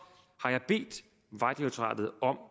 har jeg bedt vejdirektoratet om